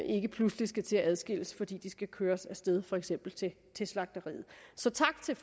ikke pludselig skal til at adskilles fordi de skal køres af sted til for eksempel slagteriet så tak til